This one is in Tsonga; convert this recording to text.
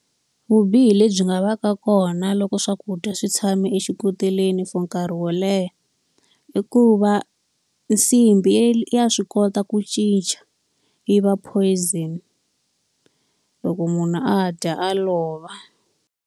Vubihi lebyi nga va ka kona loko swakudya swi tshame exikoteleni for nkarhi wo leha, i ku va nsimbi ya swi kota ku cinca yi va poison. Loko munhu a dya a lova.